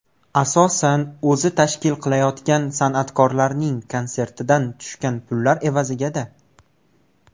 Asosan o‘zi tashkil qilayotgan san’atkorlarning konsertidan tushgan pullar evazigada!